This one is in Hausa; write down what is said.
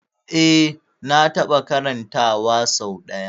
Eh na taɓa karanta wa sau ɗaya